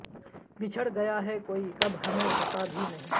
بچھڑ گیا ہے کوئی کب ہمیں پتہ بھی نہیں